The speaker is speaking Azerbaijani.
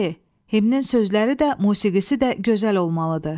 C. Himnin sözləri də, musiqisi də gözəl olmalıdır.